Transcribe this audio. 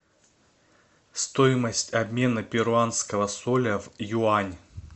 стоимость обмена перуанского соля в юань